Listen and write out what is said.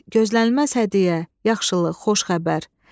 gözlənilməz hədiyyə, yaxşılıq, xoş xəbər.